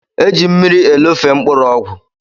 Eji mmiri elofe mkpụrụ ọgwụ.